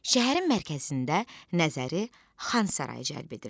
Şəhərin mərkəzində nəzəri Xan Sarayı cəlb edirdi.